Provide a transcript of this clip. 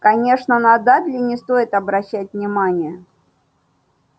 конечно на дадли не стоит обращать внимание